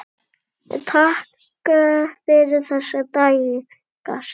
Takk fyrir þessa daga, systir.